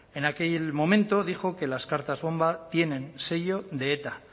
en aquel momento dijo que las cartas bomba tienen sello de eta